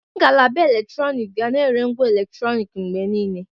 Ngalaba eletrọnịkị ga na-ere ngwa eletrọnịkị mgbe niile.